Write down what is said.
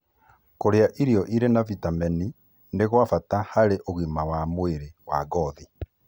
Kũrĩa irio irĩ na vitemeni nĩ gwa bata harĩ ũgima wa mwĩrĩ wa ngothi